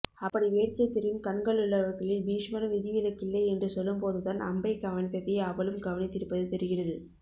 அப்படி வேட்கை தெரியும் கண்களுள்ளவர்களில் பீஷ்மரும் விதிவிலக்கில்லை என்று சொல்லும்போதுதான் அம்பை கவனித்ததை அவளும் கவனித்திருப்பது தெரிகிறது